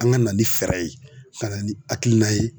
An ka na ni fɛɛrɛ ye ka na ni hakilina ye